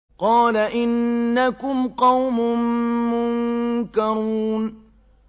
قَالَ إِنَّكُمْ قَوْمٌ مُّنكَرُونَ